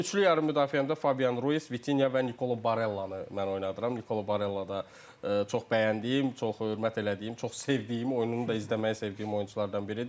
Üçlü yarım müdafiəmdə Fabian Ruiz, Vitinha və Nicolo Barellanı mən oynadıram, Nicolo Barella da çox bəyəndiyim, çox hörmət elədiyim, çox sevdiyim, oyununu da izləməyi sevdiyim oyunçulardan biri idi.